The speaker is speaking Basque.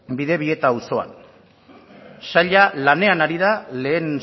bidebieta auzoan saila lanean ari da lehen